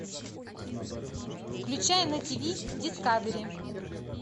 включай на тиви дискавери